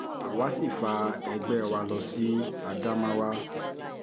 àwa sì fa ẹgbẹ́ wa lọ sí ádámáwà